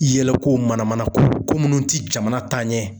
Yɛlɛ ko, mana mana ko, ko minnu tɛ jamana taa ɲɛ.